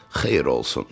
Xeyir olsun.